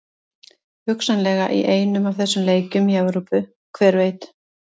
Hugsanlega í einum af þessum leikjum í Evrópu, hver veit?